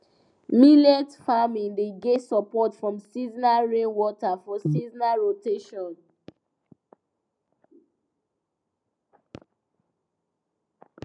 millet farming dey get support from seasonal rainwater for seasonal rotation